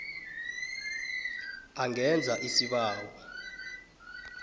a ngenza isibawo